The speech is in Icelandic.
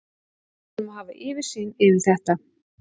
Við þurfum að hafa yfirsýn yfir þetta.